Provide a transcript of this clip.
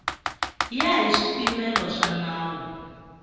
ya hi swipimelo swa nawu